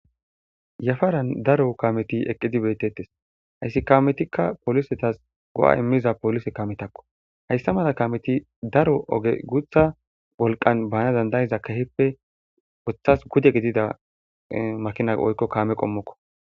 Yafaran daro kameti eqidi betetes haysi kametika policetas go'a imiza police kametako haysa mala kameti daro oge guta wolqan bana danda'ida kehipe wotas pude gidida makina woyko kame qomoko.